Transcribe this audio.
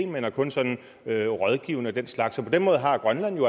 men er kun sådan rådgivende og den slags så på den måde har grønland jo